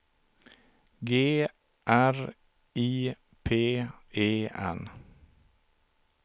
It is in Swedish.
G R I P E N